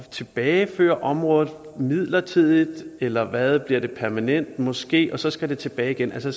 tilbageføre området midlertidigt eller hvad bliver det permanent måske og så skal det tilbage igen så